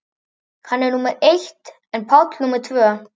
Hann var númer eitt en Páll númer tvö.